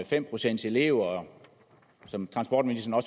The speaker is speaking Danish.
fem pcts elever og som transportministeren